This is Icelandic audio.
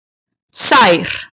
Sær